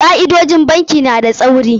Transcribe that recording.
Ka'idojin bankin na da tsauri.